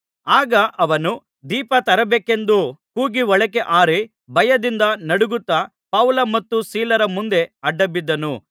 ಆಗ ಅವನು ದೀಪ ತರಬೇಕೆಂದು ಕೂಗಿ ಒಳಕ್ಕೆ ಹಾರಿ ಭಯದಿಂದ ನಡುಗುತ್ತಾ ಪೌಲ ಮತ್ತು ಸೀಲರ ಮುಂದೆ ಆಡ್ಡಬಿದ್ದನು